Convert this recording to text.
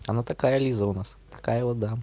она такая лиза у нас такая вот да